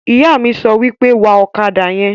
Ìyá mi sọ pé, "Wa ọ̀kadà yẹn!"